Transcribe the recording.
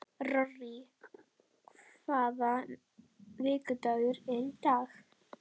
Rorí, hvaða vikudagur er í dag?